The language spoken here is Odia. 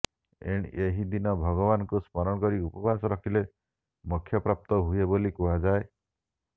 ଏହି ଦିନ ଭଗବାନଙ୍କୁ ସ୍ମରଣ କରି ଉପବାସ ରହିଲେ ମୋକ୍ଷ ପ୍ରାପ୍ତ ହୁଏ ବୋଲି କୁହାଯାଏ